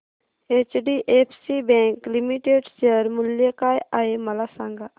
HDFC bank limited share मूल्य काय आहे मला सांगा